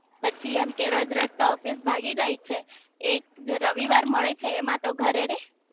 પછી એમ કે કે રોજ રોજ તો ઓફિસ ભાગી જાય છે એક રવિવાર મળે છે એમાં તો ઘરે રે